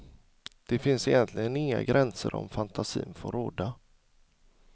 Det finns egentligen inga gränser om fantasin får råda.